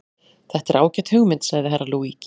Þetta er ágæt hugmynd, sagði Herra Luigi.